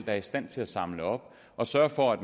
er i stand til at samle op og sørge for at